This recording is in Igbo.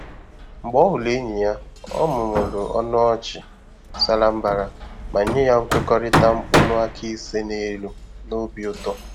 Mgbe ọ hụrụ enyi ya, ọ mụmụrụ ọnụ ọchị sara mbara ma nye ya nkwekọrịta mkpụrụ áká ise n'elu n'obi ụtọ.